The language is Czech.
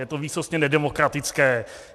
Je to výsostně nedemokratické.